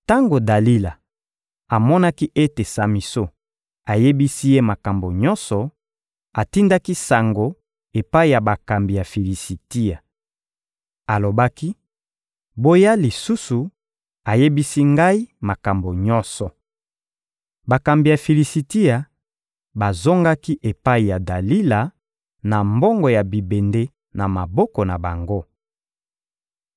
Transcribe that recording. Tango Dalila amonaki ete Samison ayebisi ye makambo nyonso, atindaki sango epai ya bakambi ya Filisitia. Alobaki: «Boya lisusu, ayebisi ngai makambo nyonso.» Bakambi ya Filisitia bazongaki epai ya Dalila na mbongo ya bibende na maboko na bango.